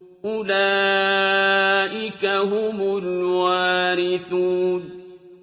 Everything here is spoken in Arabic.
أُولَٰئِكَ هُمُ الْوَارِثُونَ